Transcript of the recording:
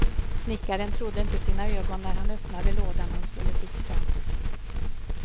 Snickaren trodde inte sina ögon när han öppnade lådan han skulle fixa.